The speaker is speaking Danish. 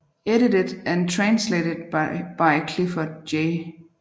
Edited and Translated by Clifford J